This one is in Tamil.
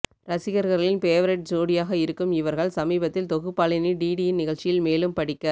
ரசிகர்களின் பேவரைட் ஜோடியாக இருக்கும் இவர்கள் சமீபத்தில் தொகுப்பாளினி டிடியின் நிகழ்ச்சியில் மேலும் படிக்க